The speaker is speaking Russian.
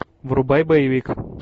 врубай боевик